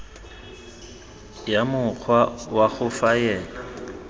ya mokgwa wa go faela